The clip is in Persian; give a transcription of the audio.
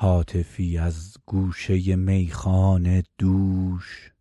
هاتفی از گوشه میخانه دوش